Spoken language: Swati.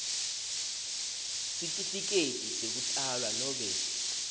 sitifiketi sekutalwa nobe